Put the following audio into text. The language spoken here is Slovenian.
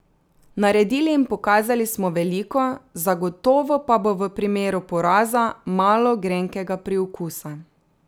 Naredili in pokazali smo veliko, zagotovo pa bo v primeru poraza malo grenkega priokusa.